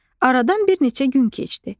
Aradan bir neçə gün keçdi.